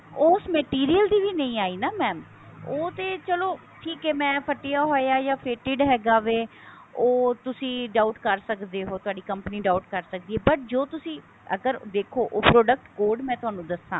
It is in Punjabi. ਉਸ material ਦੀ ਵੀ ਨਹੀਂ ਆਈ ਨਾ mam ਉਹ ਤੇ ਚੱਲੋ ਠੀਕ ਹੈ ਮੈਂ ਫਟਿਆ ਹੋਇਆ ਹੈ ਜਾ faded ਹੈਗਾ ਵੇ ਉਹ ਤੁਸੀਂ doubt ਕਰ ਸਕਦੇ ਹੋ ਤੁਹਾਡੀ company doubt ਕਰ ਸਕਦੀ ਹੈ but ਜੋ ਤੁਸੀਂ ਅਗਰ ਦੇਖੋ ਤੁਹਾਡਾ code ਮੈਂ ਤੁਹਾਨੂੰ ਦੱਸਾ